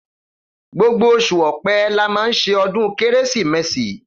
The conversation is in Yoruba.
Gbogbo òsú ọpẹ là mà sẹ ọdún kẹrẹsímèsí